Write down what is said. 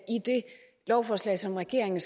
lovforslag som regeringen